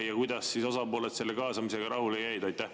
Ja kuidas siis osapooled selle kaasamisega rahule jäid?